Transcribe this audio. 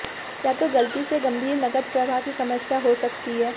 या तो गलती से गंभीर नकद प्रवाह की समस्या हो सकती है